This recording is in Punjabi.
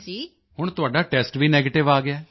ਹੁਣ ਤੁਹਾਡਾ ਟੈਸਟ ਵੀ ਨੈਗੇਟਿਵ ਆ ਗਿਆ ਹੈ